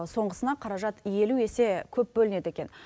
соңғысына қаражат елу есе көп бөлінеді екен